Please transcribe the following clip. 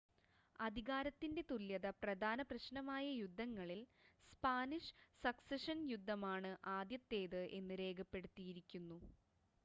അധികാരത്തിൻ്റെ തുല്യത പ്രധാന പ്രശ്നമായ യുദ്ധങ്ങളിൽ സ്പാനിഷ് സക്സഷൻ യുദ്ധമാണ് ആദ്യത്തേത് എന്ന് രേഖപ്പെടുത്തിയിരിക്കുന്നു